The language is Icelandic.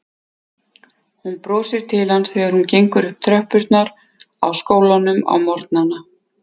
Og hún brosir til hans þegar hún gengur upp tröppurnar á skólanum á morgnana.